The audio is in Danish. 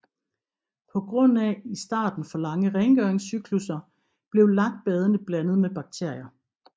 På grund af i starten for lange rengøringscyklusser blev lakbadene blandet med bakterier